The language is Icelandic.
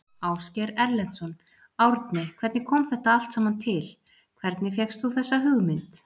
Ásgeir Erlendsson: Árni hvernig kom þetta allt saman til, hvernig fékkst þú þessa hugmynd?